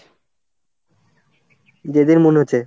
যেদিন মনে হচ্ছে।